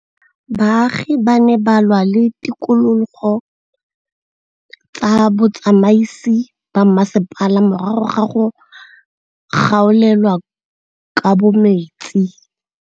Baagi ba ne ba lwa le ditokolo tsa botsamaisi ba mmasepala morago ga go gaolelwa kabo metsi.